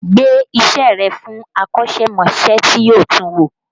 Gbe iṣẹ́ rẹ̀ fún akọ́ṣẹ́mọṣẹ́ tí yóò tun wò!